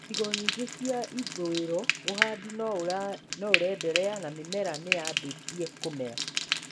Icigo nyingĩ cia ithũĩro ũhandi no ũrenderea na mĩmera nĩyambĩtie kũmera